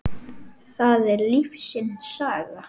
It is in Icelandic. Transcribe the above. það er lífsins saga.